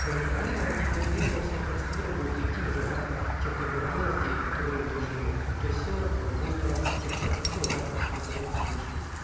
проинформирован и после этого все процедуры будут идти уже в рамках тех договоренностей которые утверждены то есть все э будет в рамках тех процедур в рамках договорных соглашений